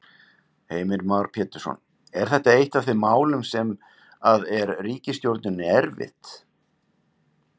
Heimir Már Pétursson: Er þetta eitt af þeim málum sem að er ríkisstjórninni erfitt?